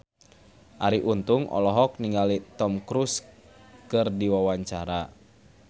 Arie Untung olohok ningali Tom Cruise keur diwawancara